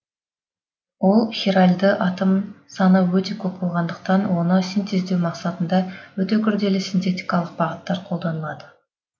ол хиральды атом саны өте көп болғандықтан оны синтездеу мақсатында өте күрделі синтетикалық бағыттар қолданылады